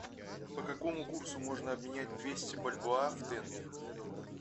по какому курсу можно обменять двести бальбоа в тенге